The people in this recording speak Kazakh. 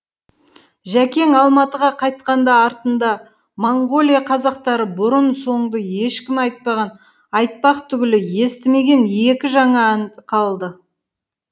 жәкең алматыға қайтқанда артында моңғолия қазақтары бұрын соңды ешкімі айтпаған айтпақ түгілі естімеген екі жаңа ән қалды